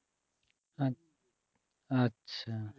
আ~ আচ্ছা